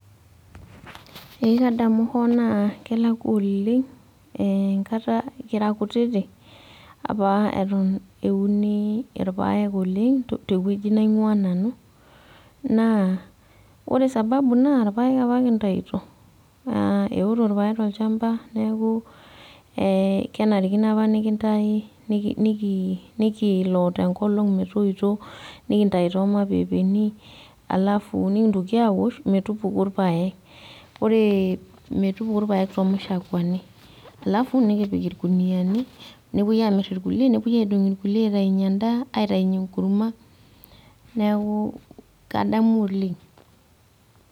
Ee kadamu hoo naa kelakwa oleng' enkata kira kutitik, apa eton euni irpaek oleng' tewueji naing'ua nanu. Ore sababu naa, irpaek apa kintaito. Naa eoto irpaek tolchamba neeku kenarikino apa nikintayu, nikilo tenkolong metoito, nikintayu tomapepeni, alafu nikintoki awosh, metupuku irpaek. Ore metupuku irpaek tomashakuani. Alafu nikipik irkuniyiani, nepoi amir irkulie, nepoi aidong' irkulie aitainye endaa, aitainye enkurma, neeku kadamu oleng.